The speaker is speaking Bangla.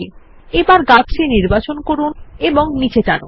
এবার গাছটি নির্বাচন করুন এবং নীচে নিয়ে আসুন